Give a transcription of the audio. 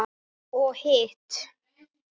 Og hitt?